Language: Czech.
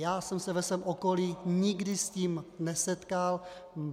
Já jsem se ve svém okolí nikdy s tím nesetkal.